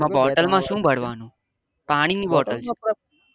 Bottle માં શું ભરવાનું? પાણી ની bottle છે.